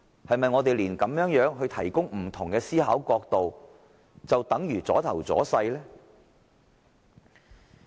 是否我們提供不同思考角度也等於"阻頭阻勢"？